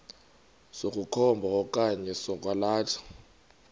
sokukhomba okanye sokwalatha